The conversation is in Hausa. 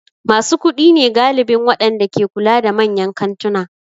Masu kuɗi ne galibin waɗanda ke kula da manyan kantuna.